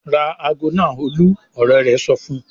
"Ra ago náà Olú!" Ọ̀rẹ́ rẹ̀ sọ fún un.